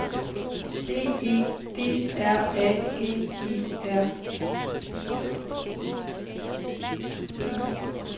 B E D R A G E R I